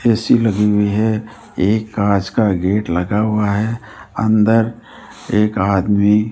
AC लगी हुई है एक कांच का गेट लगा हुआ है अंदर एक आदमी --